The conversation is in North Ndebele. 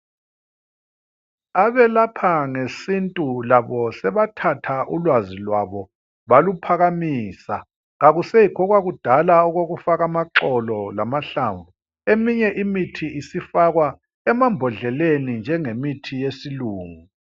Abelapha ngesintu labo sebathatha ulwazi lwabo baluphakamisa. Akusekho okwakudala okokufaka amaxolo lamahlamvu. Eminye imithi isifakwa emambodleleni njengemithi yesilungu.